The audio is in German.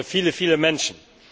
viele, viele Menschen.